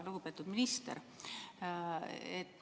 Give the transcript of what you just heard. Lugupeetud minister!